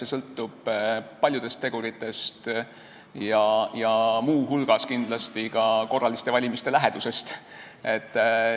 Eks see sõltub paljudest teguritest, muu hulgas kindlasti korraliste valimiste lähedusest.